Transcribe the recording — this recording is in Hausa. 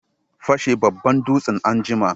Fashe babban dutsen anjima!